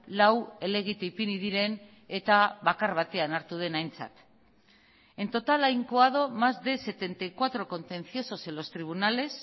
lau helegite ipini diren eta bakar batean hartu den aintzat en total ha incoado más de setenta y cuatro contenciosos en los tribunales